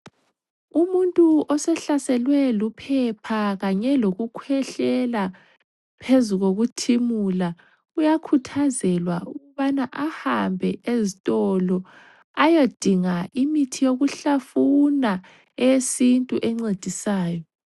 Umuntu osehlaselwe luphepha kanye lokukhwehlela phezu kokuthimula uyakuthazelwa ukubana ahambe ezitolo ayodinga imithi yokuhlafuna eyesintu encedisayo.